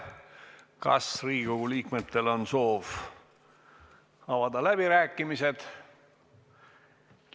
Kas Riigikogu liikmetel on soov avada läbirääkimised?